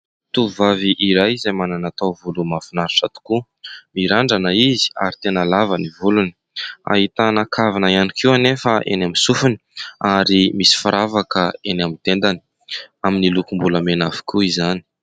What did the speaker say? Tovovavy iray izay manana taovolo mahafinaritra tokoa : mirandrana izy ary tena lava ny volony. Ahitana kavina ihany koa anefa eny amin'ny sofiny ary misy firavaka eny amin'ny tendany ; amin'ny lokom-bolamena avokoa izany.